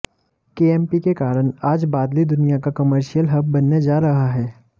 KMP के कारण आज बादली दुनिया का कर्मशियल हब बनने जा रहा है